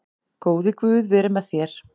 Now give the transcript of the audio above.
Góði Guð veri með þér.